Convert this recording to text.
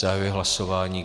Zahajuji hlasování.